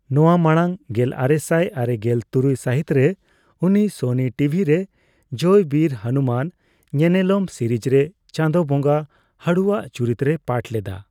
ᱱᱚᱣᱟ ᱢᱟᱲᱟᱝ, ᱜᱮᱞᱟᱨᱮᱥᱟᱭ ᱟᱨᱮᱜᱮᱞ ᱛᱩᱨᱩᱭ ᱥᱟᱹᱦᱤᱛ ᱨᱮ ᱩᱱᱤ ᱥᱚᱱᱤ ᱴᱤᱵᱷᱤ ᱨᱮ ᱡᱚᱭ ᱵᱤᱨ ᱦᱚᱱᱩᱢᱟᱱ ᱧᱮᱱᱮᱞᱚᱢ ᱥᱤᱨᱤᱡᱽ ᱨᱮ ᱪᱟᱸᱫᱚ ᱵᱚᱸᱜᱟ ᱦᱟᱹᱲᱩᱼᱟᱜ ᱪᱩᱨᱤᱛ ᱨᱮᱭ ᱯᱟᱴᱷ ᱞᱮᱫᱟ ᱾